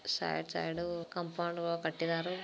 Side side ಊ compound ವಾ ಕಟ್ಟಿದಾರ.